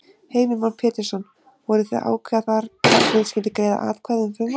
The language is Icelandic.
Heimir Már Pétursson: Voruð þið að ákveða þar hvernig skyldi greiða atkvæði um frumvarpið?